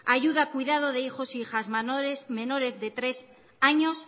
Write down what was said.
ayuda a cuidados de hijos e hijas menores de tres años